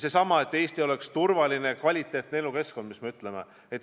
Eesmärk on, et Eesti oleks turvaline ja kvaliteetne elukeskkond, nagu öeldud.